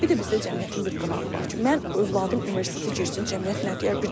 Bir də bizdə cəmiyyətin bir qınağı var ki, mən övladım universitetə girsin, cəmiyyət nə deyər?